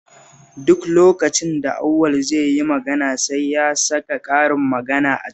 Duk lokacin da Auwal zai yi magana sai ya saka karin magana a ciki